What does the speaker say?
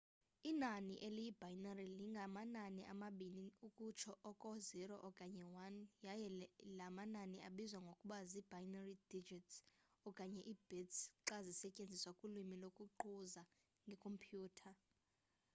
inani eliyi-binary linganamanani amabini ukutsho oko 0 okanye 1 yaye la manani abizwa ngokuba zii-binary digits okanye ii-bits xa zisetyenziswa kulwimi lokuquza ngeekhompyutha